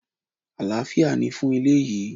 Alafia ni fún ilé yìí!